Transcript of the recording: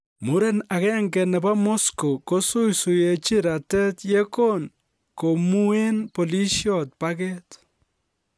Muren agenge nebo Moscow kosuisuenchin ratet ye kon komuen polisiot pakeet